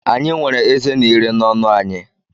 Anyị nwere ezé na ire n’ọnụ anyị.